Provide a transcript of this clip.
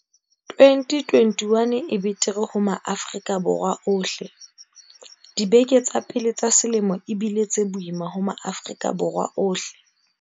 2021 e betere ho Maafrika Borwa ohleDibeke tsa pele tsa selemo e bile tse boima ho Maafri-ka Borwa ohle.